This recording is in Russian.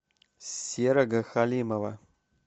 серого халимова